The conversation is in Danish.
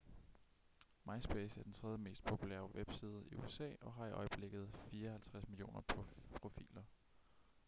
myspace er den tredje mest populære webside i usa og har i øjeblikket 54 millioner profiler